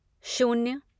शून्य